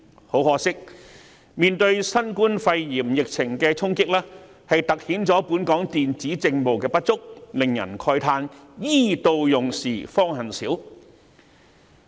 很可惜，新冠肺炎疫情的衝擊突顯了本港電子政務的不足，令人慨嘆 "E 到用時方恨少"。